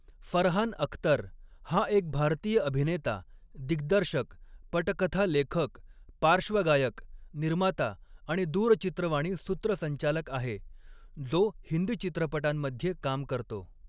फरहान अख्तर हा एक भारतीय अभिनेता, दिग्दर्शक, पटकथा लेखक, पार्श्वगायक, निर्माता आणि दूरचित्रवाणी सूत्रसंचालक आहे, जो हिंदी चित्रपटांमध्ये काम करतो.